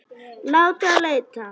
Láta leita.